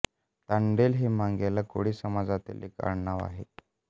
तांडेल हे मांगेला कोळी समाजातील एक आडनाव आहे